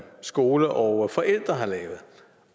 skole og forældre har lavet